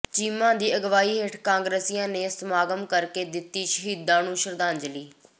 ਚੀਮਾ ਦੀ ਅਗਵਾਈ ਹੇਠ ਕਾਂਗਰਸੀਆਂ ਨੇ ਸਮਾਗਮ ਕਰਕੇ ਦਿੱਤੀ ਸ਼ਹੀਦਾਂ ਨੂੰ ਸ਼ਰਧਾਂਜਲੀ